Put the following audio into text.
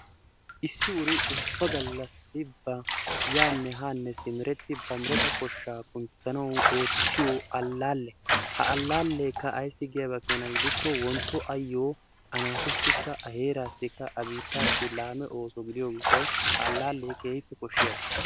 Issi uri ubba gallassi ba yaanne haane simmeretti ba mereta koshshaa kunttanawu oottiyo allale, ha allaleekka ayssi giyaaba keena gidikko wontto ayyo a naatussikka, a heerassika, a biittassi laamme ooso gidiyo gishshawu, ha allaale keehi koshshiyaaba.